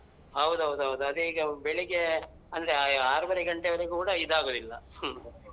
ಹೌದ್ ಹೌದ್ ಹೌದು ಅದೇ ಈಗ ಬೆಳಿಗ್ಗೆ ಅಂದ್ರೆ ಆರೂವರೆ ಗಂಟೆವರೆಗೂ ಕೂಡ ಇದಾಗುದಿಲ್ಲ.